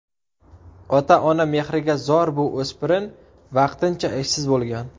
Ota-ona mehriga zor bu o‘spirin vaqtincha ishsiz bo‘lgan.